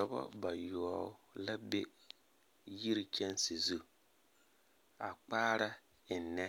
Dɔbɔ bayoɔbo la be yiri kyaanse zu, a kpaara ennɛ